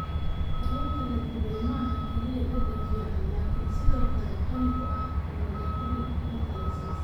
Kalluunka la dubay maaha oo kaliya dhadhan fiican laakiin sidoo kale qani ku ah omega-3 fatty acids.